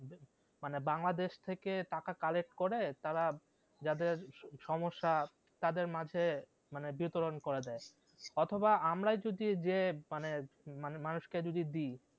মানে বাংলাদেশ থেকে টাকা collect করে তারা যাদের সমস্যা তাদের মাঝে মানে বিতরন করে দেয় অথবা আমরাই যদি গিয়ে মানে মানুষ কে যদি দি